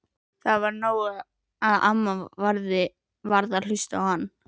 Það var nóg að amma varð að hlusta á hann.